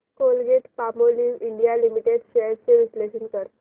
Colgate Palmolive India limited shares चे विश्लेषण कर